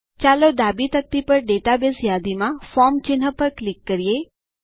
ચાલો ડાબી તકતી પર ડેટાબેઝ યાદીમાં ફોર્મ ચિહ્ન પર ક્લિક કરીએ